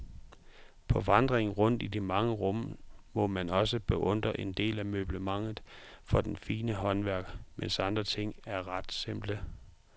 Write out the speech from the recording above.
På vandringen rundt i de mange rum må man også beundre en del af møblementet for det fine håndværk, mens andre ting er ret simple.